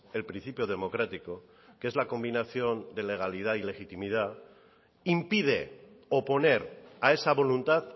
el principio democrático que es la combinación de legalidad y legitimidad impide oponer a esa voluntad